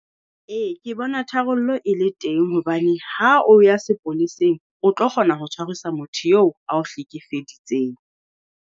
Ee ke bona tharollo e le teng hobane ha o ya sepoleseng, o tlo kgona ho tshwarisa motho eo ao hlekefeditseng.